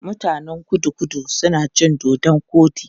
Mutanen Kudu-Kudu suna cin dodon koɗi.